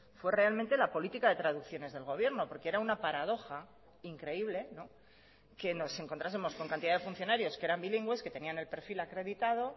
fue realmente la política de traducciones del gobierno porque era una paradoja increíble que nos encontrásemos con cantidad de funcionarios que eran bilingües que tenían el perfil acreditado